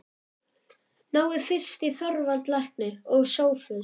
Náið fyrst í Þorvald lækni og Sophus.